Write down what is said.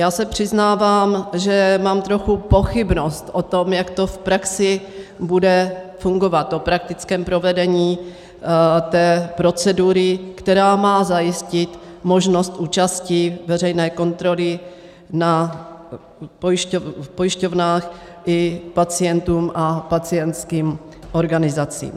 Já se přiznávám, že mám trochu pochybnost o tom, jak to v praxi bude fungovat, o praktickém provedení té procedury, která má zajistit možnost účasti veřejné kontroly v pojišťovnách i pacientům a pacientským organizacím.